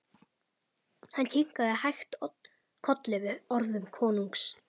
Hann kinkaði hægt kolli við orðum konungs.